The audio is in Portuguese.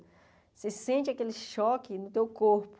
Você sente aquele choque no teu corpo.